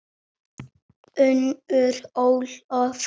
Unnur Ólöf.